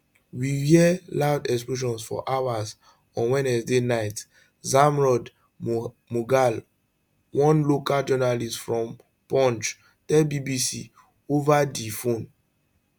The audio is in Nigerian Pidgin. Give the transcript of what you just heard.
we hear loud explosions for hours on wednesday night zamrood mughal one local journalist from poonch tell bbc ova di phone